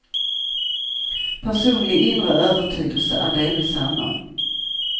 Personlig inre övertygelse en delvis annan.